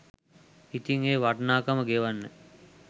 ඉතිං ඒ වටිනාකම ගෙවන්න